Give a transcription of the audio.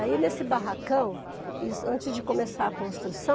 Aí nesse barracão, isso antes de começar a construção,